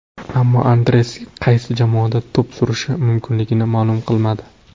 Ammo Andres qaysi jamoada to‘p surishi mumkinligini ma’lum qilmadi.